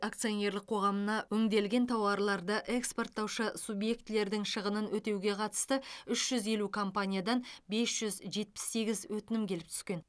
акционерлік қоғамына өңделген тауарларды экспорттаушы субъектілердің шығынын өтеуге қатысты үш жүз елу компаниядан бес жүз жетпіс сегіз өтінім келіп түскен